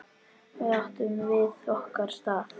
Þar áttum við okkar stað.